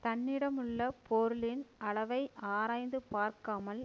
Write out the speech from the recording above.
தன்னிடமுள்ள பொருளின் அளவை ஆராய்ந்து பார்க்காமல்